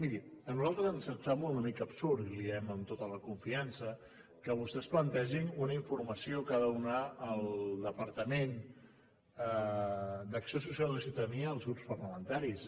miri a nosaltres ens sembla una mica absurd i li ho diem amb tota la confiança que vostès plantegin una informació que ha de donar el departament d’acció social i ciutadania als grups parlamentaris